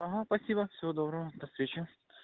ага спасибо всего доброго до встречи